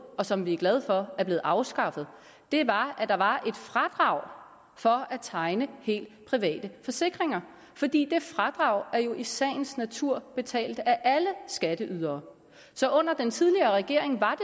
og som vi er glade for er blevet afskaffet var at der var et fradrag for at tegne helt private forsikringer fordi det fradrag jo i sagens natur betalt af alle skatteydere under den tidligere regering var